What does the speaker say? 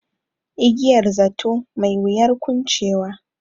Igiyar zato, mai wuyar kuncewa.